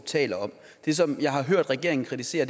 taler om det som jeg har hørt regeringen kritisere